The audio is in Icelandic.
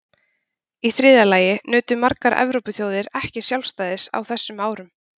Í þriðja lagi nutu margar Evrópuþjóðir ekki sjálfstæðis á þessum árum.